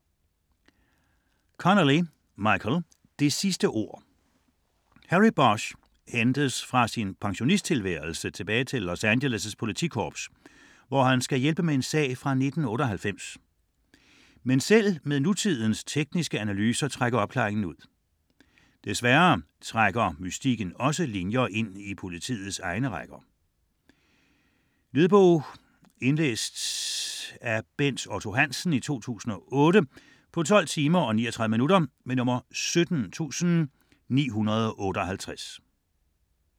Connelly, Michael: Det sidste ord Harry Bosch hentes fra sin pensionisttilværelse tilbage til Los Angeles' politikorps, hvor han skal hjælpe med en sag fra 1988. Men selv med nutidens tekniske analyser trækker opklaringen ud. Desværre trækker mystikken også linjer ind i politiets egne rækker. Lydbog 17958 Indlæst af Bent Otto Hansen, 2008. Spilletid: 12 timer, 39 minutter.